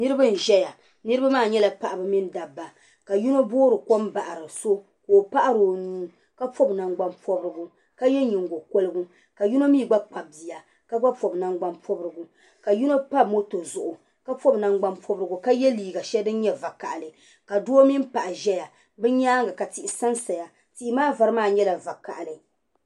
Nirba n zaya. nirimaa. nyala. paɣiba mini dabba ka yino boori kom bahiri so ka opaɣri onuu kapɔbi nangban pɔbrigu ka yɛ nyingo kpɛrigu ka yino mi gba Kpabi biya ka gba pɔbi man gban pobirigu ka yino pa moto zuɣu kapɔbi nangban pɔbrigu ka yɛ liiga shɛli din nyɛ vɔkahili ka doo mini paɣa zaya bi nyaanga ka tihi san saya ka tihimaa vari maa nyɛ vakahili